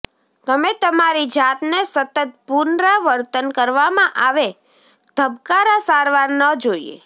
તમે તમારી જાતને સતત પુનરાવર્તન કરવામાં આવે ધબકારા સારવાર ન જોઈએ